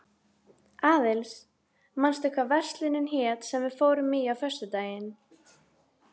Aðils, manstu hvað verslunin hét sem við fórum í á föstudaginn?